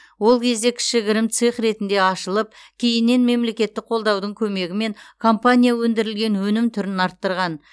ол кезде кішігірім цех ретінде ашылып кейіннен мемлекеттік қолдаудың көмегімен компания өндірілген өнім түрін арттырған